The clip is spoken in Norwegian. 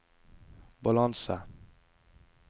balanse